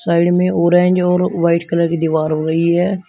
Side में orange और white colour की दीवार है।